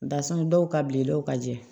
Barisa dɔw ka bilennaw ka jɛ